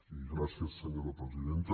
i gràcies senyora presidenta